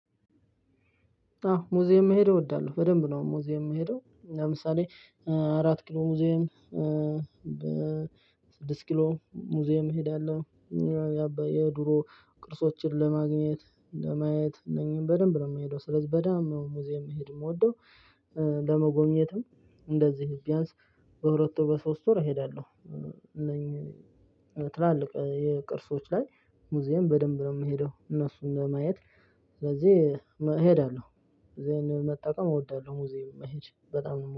አው ሙዚየም መሄድ እወዳለሁ በደንብ ነው ሙዚየም የምሄደው ለምሳሌ እ አራት ኪሎ ሙዚየም በ ስድስት ኪሎ ሙዚየም እሄዳለሁ። የድሮ ቅርሶችን ለማግኘት ለማየት እነኚህን በደንብ ነው የምሄደው ስለዚህ በደንብ ሙዚየም መሄድ የምወደው ለመጎብኘትም እንደዚህ ቢያንስ በሁለት ወር በሶስት ወር እሄዳለሁ። እነኚህ ትላልቅ የቅርሶች ላይ ሙዚየም በደንብ ነው የምሄደው እነሱን ለማየት ስለዚህ እሄዳለሁ። እዚህን መጠቀም እወዳለሁ እዚህ መሄድ በጣም ነው